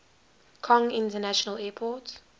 kong international airport